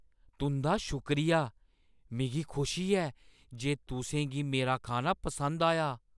तुं'दा शुक्रिया! मिगी खुशी ऐ जे तुसें गी मेरा खाना पसंद आया ।